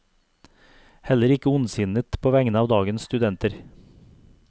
Heller ikke ondsinnet på vegne av dagens studenter.